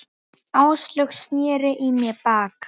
Áslaug sneri í mig baki.